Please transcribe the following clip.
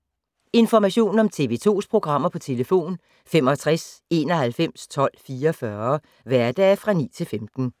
Information om TV 2's programmer: 65 91 12 44, hverdage 9-15.